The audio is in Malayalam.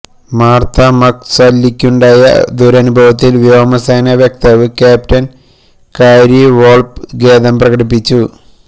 മാര്ത്ത മക്സാല്ലിക്കുണ്ടായ ദുരനുഭവത്തില് വ്യോമസേന വക്താവ് ക്യാപ്റ്റന് കാരി വോള്പ് ഖേദം പ്രകടിപ്പിച്ചു